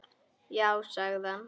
Já sagði ég.